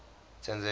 tanzania